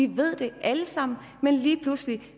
vi ved det alle sammen men lige pludselig